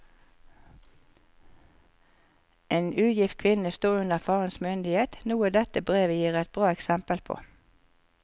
En ugift kvinne sto under farens myndighet, noe dette brevet gir et bra eksempel på.